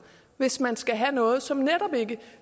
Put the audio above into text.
hvis man skal have noget som netop ikke